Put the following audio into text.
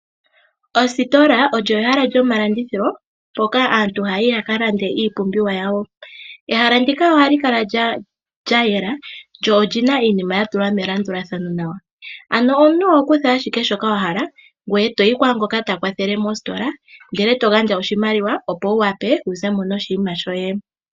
Ositola olyo ehala lyomalandithilo mpoka aantu haya yi ya ka lande iipumbiwa yawo. Ehala ndika ohali kala lya yeya noli na iinima ya tulwa melandulathano nawa omuntu oho kutha owala shoka wa hala ngoye e to yi kwaangoka ta kwathele mositola e to gandja oshimaliwa opo wu wape wu ze mo noshinima shoye.